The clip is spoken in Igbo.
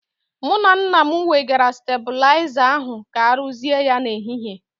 Mụ na nna m wegara stabụlaiza ahu ka aruzie ya n'ehihie.